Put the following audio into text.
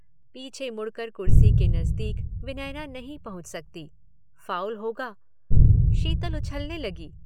पीछे मुड़कर कुर्सी के नज़दीक विनयना नहीं पहुँच सकती। फाउल होगा। शीतल उछलने लगी।